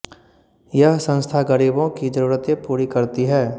यह संस्था गरीबों की जरूरतें पूरी करती है